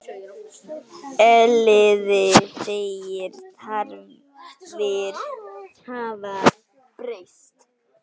Elliði segir þarfir hafa breyst.